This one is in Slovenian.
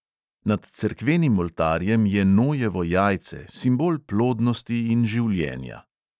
Nad cerkvenim oltarjem je nojevo jajce, simbol plodnosti in življenja.